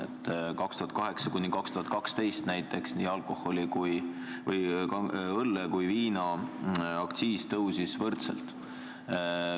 Aastail 2008–2012 näiteks tõusid õlle- ja viinaaktsiis võrdselt.